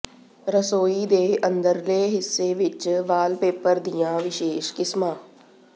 ਰਸੋਈ ਦੇ ਅੰਦਰਲੇ ਹਿੱਸੇ ਵਿੱਚ ਵਾਲਪੇਪਰ ਦੀਆਂ ਵਿਸ਼ੇਸ਼ ਕਿਸਮਾਂ